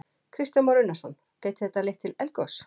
Kristján Már Unnarsson: Gæti þetta leitt til eldgoss?